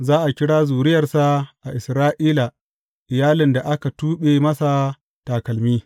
Za a kira zuriyarsa a Isra’ila Iyalin da aka tuɓe masa takalmi.